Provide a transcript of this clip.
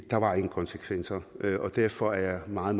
der var ingen konsekvenser og derfor er jeg meget